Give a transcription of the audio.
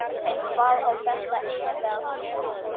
En hvað á þetta eiginlega að þýða?